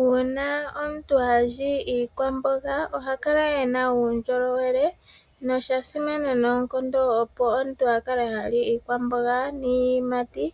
Uuna omuntu ha li iikwamboga oha kala e na uundjolowele. Osha simana noonkondo opo omuntu a kale ha li iikwamboga niiyimati